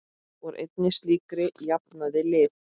Úr einni slíkri jafnaði liðið.